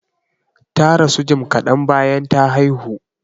Ta rasu jim kadan bayan ta haihu.